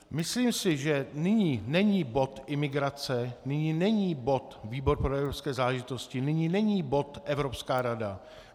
Myslím si, že nyní není bod imigrace, nyní není bod výbor pro evropské záležitosti, nyní není bod Evropská rada.